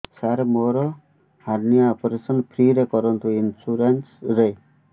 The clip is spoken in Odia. ସାର ମୋର ହାରନିଆ ଅପେରସନ ଫ୍ରି ରେ କରନ୍ତୁ ଇନ୍ସୁରେନ୍ସ ରେ